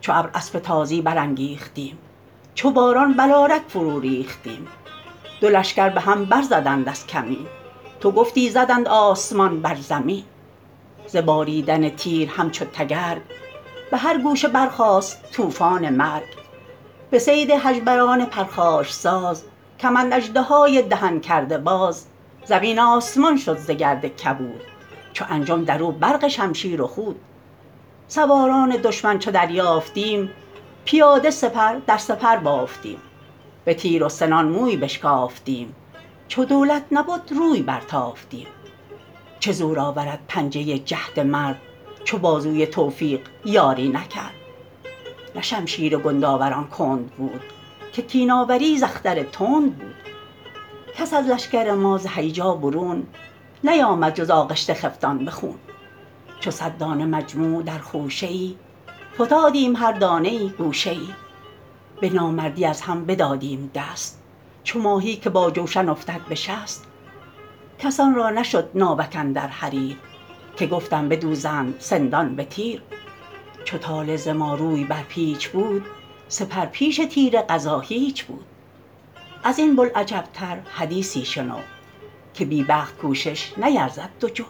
چو ابر اسب تازی برانگیختیم چو باران بلارک فرو ریختیم دو لشکر به هم بر زدند از کمین تو گفتی زدند آسمان بر زمین ز باریدن تیر همچو تگرگ به هر گوشه برخاست طوفان مرگ به صید هژبران پرخاش ساز کمند اژدهای دهن کرده باز زمین آسمان شد ز گرد کبود چو انجم در او برق شمشیر و خود سواران دشمن چو دریافتیم پیاده سپر در سپر بافتیم به تیر و سنان موی بشکافتیم چو دولت نبد روی بر تافتیم چه زور آورد پنجه جهد مرد چو بازوی توفیق یاری نکرد نه شمشیر گندآوران کند بود که کین آوری ز اختر تند بود کس از لشکر ما ز هیجا برون نیامد جز آغشته خفتان به خون چو صد دانه مجموع در خوشه ای فتادیم هر دانه ای گوشه ای به نامردی از هم بدادیم دست چو ماهی که با جوشن افتد به شست کسان را نشد ناوک اندر حریر که گفتم بدوزند سندان به تیر چو طالع ز ما روی بر پیچ بود سپر پیش تیر قضا هیچ بود از این بوالعجب تر حدیثی شنو که بی بخت کوشش نیرزد دو جو